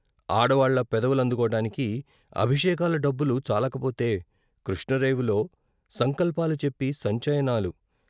ఆడవాళ్ళ పెదవులందుకోడానికి అభిషేకాల డబ్బులు చాలకపోతే కృష్ణ రేవులో సంకల్పాలు చెప్పి సంచయనాలు.